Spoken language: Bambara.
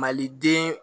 Maliden